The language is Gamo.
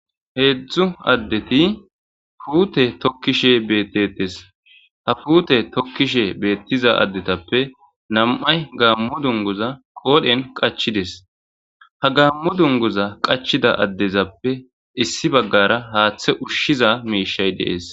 Hezhzhu adeti pute tokishe betettes. Ha pute tokiza asatappe nam''ati gammo dunguza qodhen qachida. Ha gammo dunguza qachida adezappe issi bagara haththe ushshiza mishshi dessi.